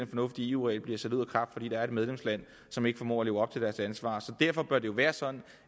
fornuftige eu regel bliver sat ud af kraft fordi der er et medlemsland som ikke formår at leve op til deres ansvar så derfor bør det jo være sådan